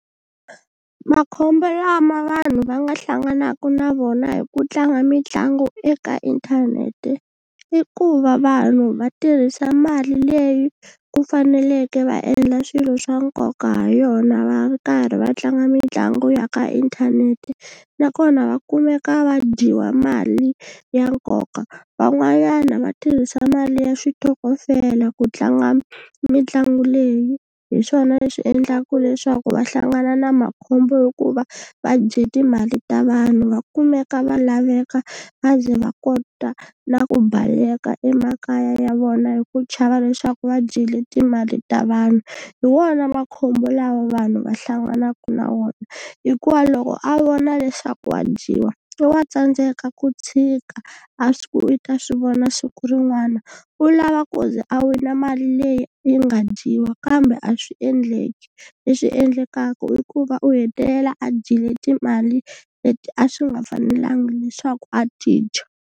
Makhombo lama vanhu va nga hlanganaka na vona hi ku tlanga mitlangu eka inthanete i ku va vanhu va tirhisa mali leyi ku faneleke va endla swilo swa nkoka ha yona va karhi va tlanga mitlangu ya ka inthanete nakona va kumeka va dyiwa mali ya nkoka van'wanyana va tirhisa mali ya switokofela ku tlanga mitlangu leyi hi swona leswi endlaku leswaku va hlangana na makhombo hikuva va dye timali ta vanhu va kumeka va laveka va ze va kota na ku baleka emakaya ya vona hi ku chava leswaku va dyile timali ta vanhu hi wona makhombo lawa vanhu va hlanganaka na wona hikuva loko a vona leswaku wa dyiwa i wa tsandzeka ku tshika a swi ku i ta swi vona siku rin'wana u lava ku ze a wina mali leyi yi nga dyiwa kambe a swi endleki leswi endlekaku i ku va u hetelela a dyile timali leti a swi nga fanelanga leswaku a ti dya.